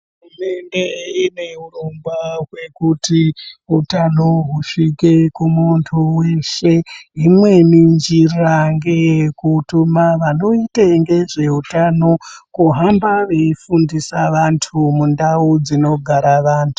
Hurumende ine hurongwa hwekuti utano husvike kumuntu weshe. Imweni njira ngeyekutuma vanoite ngezveutano kuhamba veifundisa vantu mundau dzinogara vantu.